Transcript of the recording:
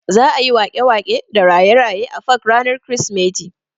Za'a yi waƙe-waƙe da raye-raye a fak ranar krismeti.